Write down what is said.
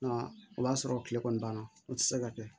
Nka o b'a sɔrɔ kile kɔni banna o tɛ se ka kɛ